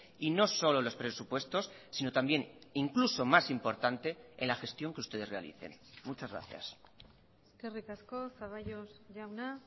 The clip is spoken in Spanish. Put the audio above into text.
y no solo los presupuestos sino también incluso más importante en la gestión que ustedes realicen muchas gracias eskerrik asko zaballos jauna